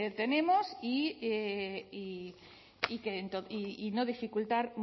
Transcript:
tenemos y no dificultar